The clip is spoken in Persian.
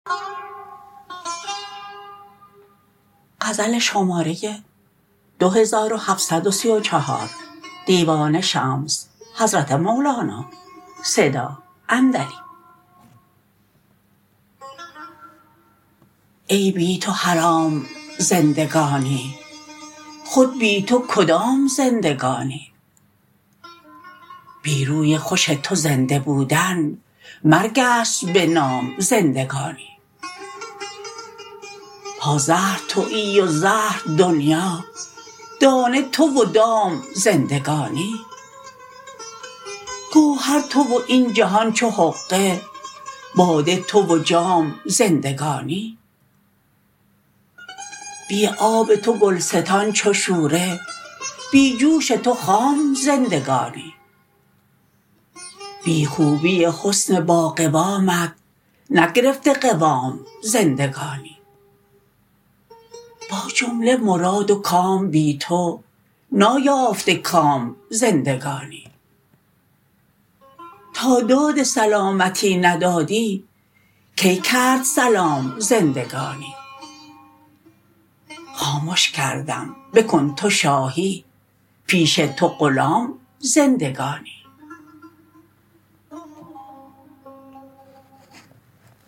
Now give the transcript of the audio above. ای بی تو حرام زندگانی خود بی تو کدام زندگانی بی روی خوش تو زنده بودن مرگ است به نام زندگانی پازهر توی و زهر دنیا دانه تو و دام زندگانی گوهر تو و این جهان چو حقه باده تو و جام زندگانی بی آب تو گلستان چو شوره بی جوش تو خام زندگانی بی خوبی حسن باقوامت نگرفته قوام زندگانی با جمله مراد و کام بی تو نایافته کام زندگانی تا داد سلامتی ندادی کی کرد سلام زندگانی خامش کردم بکن تو شاهی پیش تو غلام زندگانی